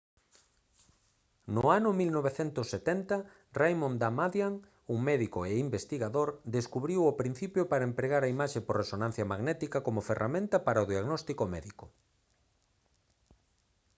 no ano 1970 raymond damadian un médico e investigador descubriu o principio para a empregar a imaxe por resonancia magnética como ferramenta para o diagnóstico médico